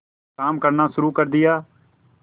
काम करना शुरू कर दिया